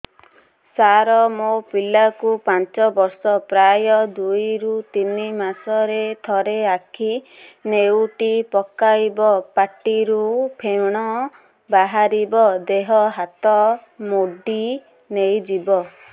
ସାର ମୋ ପିଲା କୁ ପାଞ୍ଚ ବର୍ଷ ପ୍ରାୟ ଦୁଇରୁ ତିନି ମାସ ରେ ଥରେ ଆଖି ନେଉଟି ପକାଇବ ପାଟିରୁ ଫେଣ ବାହାରିବ ଦେହ ହାତ ମୋଡି ନେଇଯିବ